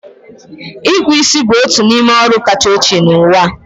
Ịkpų isi bụ otu n'ime ọrụ kacha ochie n'ụwa.